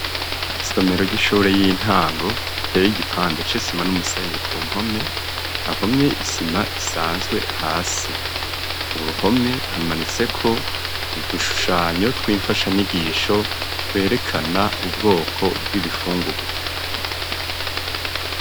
Isomero ry'ishure y'intango iteye igipande c'isima n'umusenyi, ku mpome hahomye isima isanzwe, hasi ku ruhome hamanitse ko udushushanyo tw'imfasha nyigisho, twerekana ubwoko bw'ibifungugwa.